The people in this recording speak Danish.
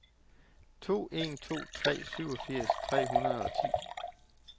to en to tre syvogfirs tre hundrede og ti